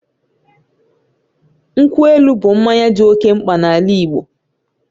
Nkwụ elu bụ mmanya dị oke mkpa n'ala Igbo